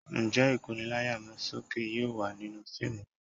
Ǹjẹ́ Ìkóni láyà sókè yóò wà nínú fíìmù náà?